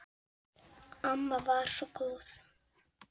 Amma var svo góð.